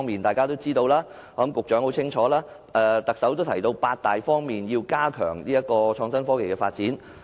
大家都知道，而我想局長也很清楚，連特首亦提到要在八大方面加強創科發展。